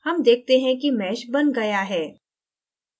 हम देखते हैं कि meshबन गया है